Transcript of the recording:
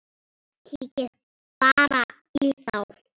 Kíkið bara í þá!